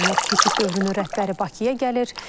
Keçid dövrünün rəhbəri Bakıya gəlir.